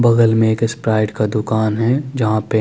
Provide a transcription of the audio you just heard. बगल में एक स्प्राइट का दुकान है जहा पे --